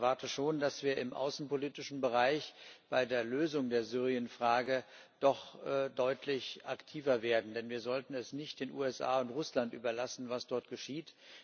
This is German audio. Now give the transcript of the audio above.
Ich erwarte schon, dass wir im außenpolitischen Bereich bei der Lösung der Syrienfrage doch deutlich aktiver werden, denn wir sollten es nicht den USA und Russland überlassen, was dort geschieht.